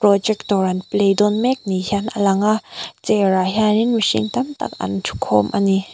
projector an play dawn mek ni hian a lang a chair ah hianin mihring tam tak an thu khawm ani.